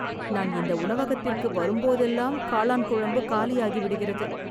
நான் இந்த உணவகத்திற்கு வரும் போதெல்லாம் காளான் குழம்பு காலி ஆகிவிடுகிறது